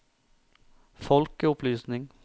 folkeopplysning